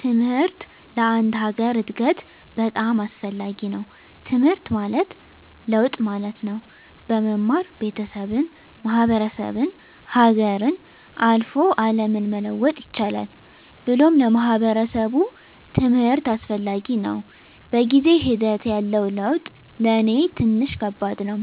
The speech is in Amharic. ትምሕርት ለአንድ ሀገር እድገት በጣም አስፈላጊ ነዉ። ትምሕርት ማለት ለውጥ ማለት ነው። በመማር ቤተሠብን፣ ማሕበረሰብን፣ ሀገርን፣ አልፎ አለምን መለወጥ ይቻላል ብሎም ለማሕበረሰቡ ትምህርት አስፈላጊ ነው። በጊዜ ሒደት ያለው ለውጥ ለኔ ትንሽ ከባድ ነው።